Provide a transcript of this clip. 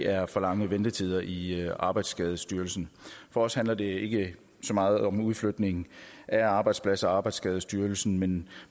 er for lange ventetider i arbejdsskadestyrelsen for os handler det ikke så meget om en udflytning af arbejdspladser og arbejdsskadestyrelsen men